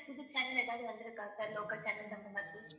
புது channel எதாவது வந்து இருக்கா sir local channels அந்த மாதிரி